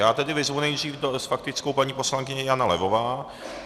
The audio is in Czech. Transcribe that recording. Já tedy vyzvu nejdřív s faktickou paní poslankyni Janu Levovou.